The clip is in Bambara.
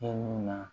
E ni na